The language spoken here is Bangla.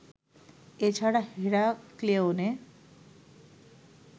এ ছাড়া হেরাক্লেয়নে